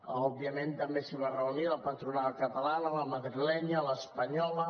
òbviament també s’hi va reunir la patronal catalana la madrilenya l’espanyola